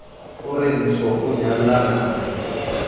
o re tsho o nyalellana